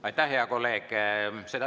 Aitäh, hea kolleeg!